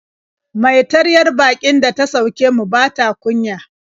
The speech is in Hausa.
Mai taryar baƙin da ta sauke mu ba ta kunya.